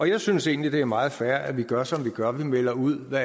jeg synes egentlig det er meget fair at vi gør som vi gør nemlig at vi melder ud hvad